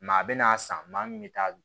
Maa bɛ n'a san maa min bɛ taa